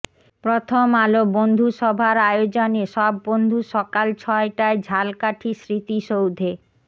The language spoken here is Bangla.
প্রথম আলো বন্ধুসভার আয়োজনে সব বন্ধু সকাল ছয়টায় ঝালকাঠি স্মৃতিসৌধে